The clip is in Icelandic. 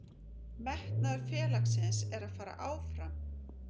Metnaður félagsins er að fara áfram.